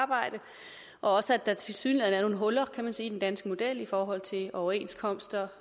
arbejde og også at der tilsyneladende huller kan man sige i den danske model i forhold til overenskomster